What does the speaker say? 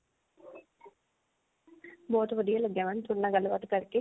ਬਹੁਤ ਵਧੀਆ ਲੱਗਿਆ mam ਥੋੜੇ ਨਾਲ ਗੱਲਬਾਤ ਕਰਕੇ